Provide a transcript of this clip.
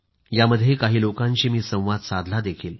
यामध्ये काही लोकांशी मी संवाद साधलाही